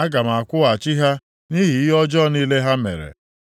Aga m akwụghachi ha nʼihi ihe ọjọọ niile ha mere.”